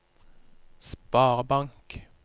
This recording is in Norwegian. sparebank